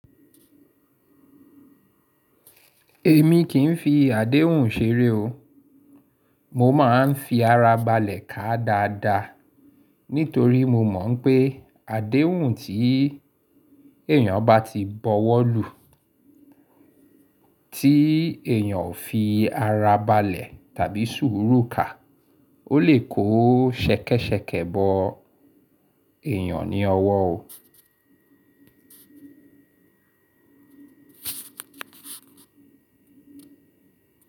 Èmi kì ń fi àdéhùn ṣeré o. Mo máa ń fi ara balẹ̀ ká dáadáa nítorí mo mọ̀ n pé àdéhùn tí èyàn bá ti bọwọ́ lù tí èyàn ò fi ara balẹ̀ tàbí sùúrù ka, ó lè kó ṣẹ̀kẹ́ṣẹ̀kẹ̀ bọ èyàn ní ọwọ́ o.